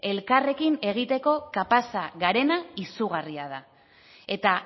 elkarrekin egiteko kapaza garena izugarria da eta